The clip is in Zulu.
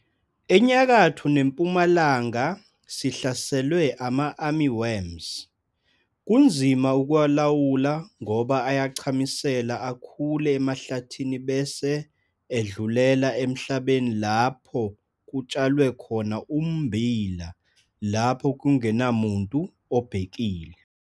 ENyakatho neMpumalala sihlaselwe ama-Army worms - kunzima ukuwalawula ngoba ayachamisela akhule emahlathini bese edlulela emhlabeni lapho kutshalwe khona ummbila lapho kungenamuntu obhekile.